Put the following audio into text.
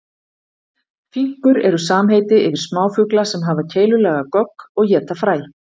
Finkur eru samheiti yfir smáfugla sem hafa keilulaga gogg og éta fræ.